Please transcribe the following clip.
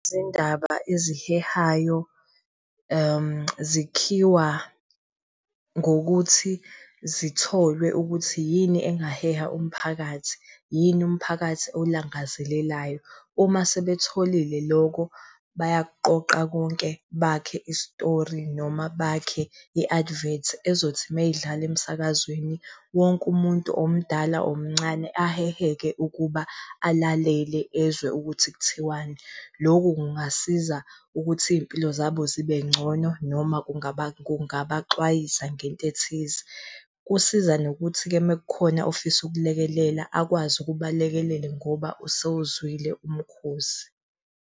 Izindaba ezihehayo, zikhiwa ngokuthi zitholwe ukuthi yini engaheha umphakathi, yini mphakathi oyilangazelelayo. Uma sebetholile loko bayakuqoqa konke bakhe isitori noma bakhe i-advert ezothi meyidlala emsakazweni wonke umuntu omdala, omncane aheheke ukuba alalele ezwe ukuthi kuthiwani. Loku kungasiza ukuthi iy'mpilo zabo zibe ngcono noma kungabaxwayisa ngento ethize. Kusiza nokuthi-ke mekukhona ofisa ukulekelela akwazi ukuba alekelele ngoba usewuzwile umkhosi.